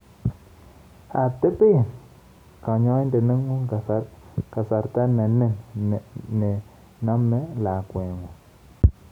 Teben kanyoinden nengung' kasarta nenin nenime lakwekngung'